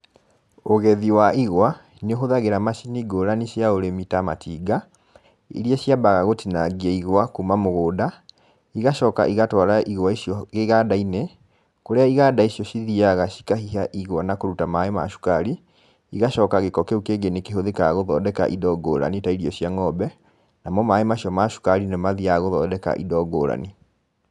Ũgethi wa igwa, nĩ ũhũthagĩra macini ngũrani cia ũrĩmi ta matinga, iria ciambaga gũtinangia igwa kuma mũgũnda, igacoka igatwara igwa icio iganda-inĩ, kũrĩa iganda icio cithiaga cikahiha igwa na kũruta maĩ ma cukari, igacoka gĩko kĩu kĩngĩ nĩ kĩhũthĩkaga gũthondeka indo ngũrani ta irio cia ng'ombe, namo maĩ macio ma cukari nĩmo mathiaga gũthondeka indo ngũrani.